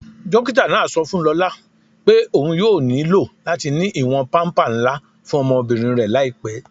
Dókítà náà sọ fún Lólá pé óun yóò ní ilò latí ní iwọn pàmpà nlà fún ọmọbírín rẹ laípẹ́.